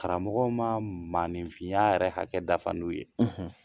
Karamɔgɔ ma maninfinya yɛrɛ hakɛ dafa n'u ye;